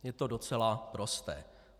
Je to docela prosté.